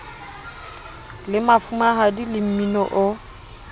le mafumahadi le mmini o